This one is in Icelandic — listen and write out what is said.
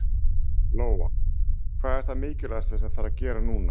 Lóa: Hvað er það mikilvægasta sem þarf að gera núna?